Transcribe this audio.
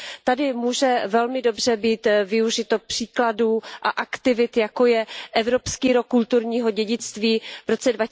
Tady může velmi dobře být využito příkladů a aktivit, jako je Evropský rok kulturního dědictví v roce